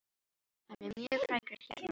Hann er mjög frægur hérna á Spáni.